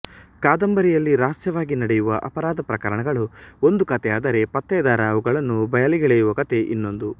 ಕಾದಂಬರಿಯಲ್ಲಿ ರಹಸ್ಯವಾಗಿ ನಡೆಯುವ ಅಪರಾಧ ಪ್ರಕರಣಗಳು ಒಂದು ಕಥೆಯಾದರೆ ಪತ್ತೆದಾರ ಅವುಗಳನ್ನು ಬಯಲಿಗೆಳೆಯುವ ಕತೆ ಇನ್ನೊಂದು